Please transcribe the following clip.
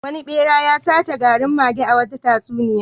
Wani ɓera ya sace garin mage a wata tatsuniya.